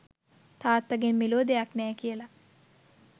තාත්තගෙන් මෙලෝ දෙයක් නෑ කියලා.